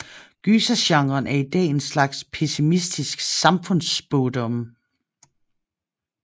Gysergenren er i dag en slags pessimistisk samfundsspådom